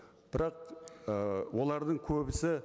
бірақ ы олардың көбісі